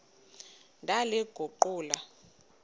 ndaliguqula